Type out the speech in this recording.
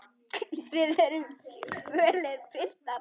Þið eruð fölir, piltar.